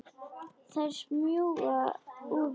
Þær smjúga úr hverju horni.